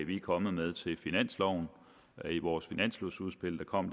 vi er kommet med til finansloven i vores finanslovsudspil der kom